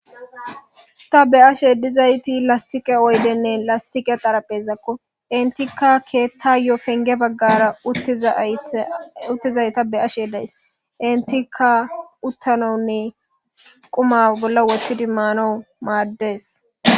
ta be7ashe dizayti lastiqe oydenne lastiqe xaraphezakko entikka keettayo penge baggara uttizayta be7ashe days entikka uttanawunne quma bolla wothidi maanaw maaddes